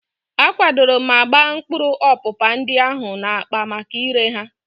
A kwadoro ma gbaa mkpụrụ ọpụpa ndị ahụ n'akpa maka ire ha.